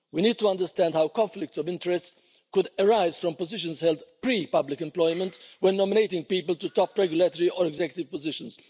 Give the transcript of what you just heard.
We need to understand how conflicts of interest could arise from positions held pre public employment when nominating people to top regulatory or executive positions.